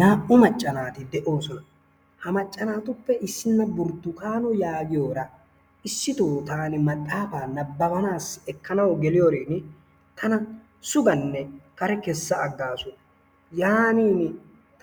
Naa"u macca naati de'oosona, ha macca naatuppe issina Burtukkaano yaagiyoora issito taani maxaafaa nabbabanaassi ekkanawu geliyoorin tana sugganne kare kessa aagasu yaaninni